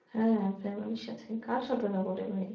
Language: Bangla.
হ্যাঁ চামেলির সাথেই কার সাথে যাবোরে ভাই?